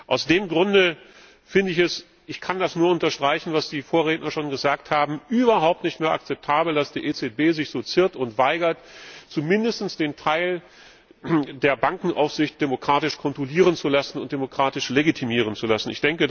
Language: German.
Aus diesem Grunde finde ich es ich kann das nur unterstreichen, was meine Vorredner gesagt haben überhaupt nicht mehr akzeptabel, dass die EZB sich so ziert und weigert, zumindest den Teil der Bankenaufsicht demokratisch kontrollieren und demokratisch legitimieren zu lassen.